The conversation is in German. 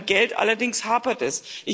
Beim Geld allerdings hapert es.